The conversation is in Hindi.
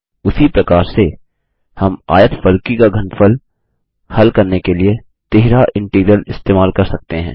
उसी प्रकार से हम आयतफलकी का घनफल हल करने के लिए तिहरा इंटीग्रल इस्तेमाल कर सकते हैं